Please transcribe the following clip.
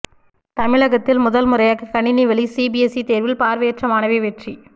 தமிழகத்தில் முதன் முறையாக கணினி வழி சிபிஎஸ்இ தேர்வில் பார்வையற்ற மாணவி வெற்றி